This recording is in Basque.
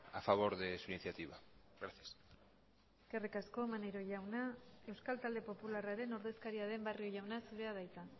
a favor de su iniciativa gracias eskerrik asko maneiro jauna euskal talde popularraren ordezkaria den barrio jauna zurea da hitza